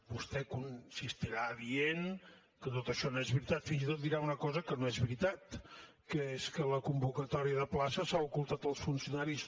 vostè insistirà dient que tot això no és veritat fins i tot dirà una cosa que no és veritat que és que la convocatòria de places s’ha ocultat als funcionaris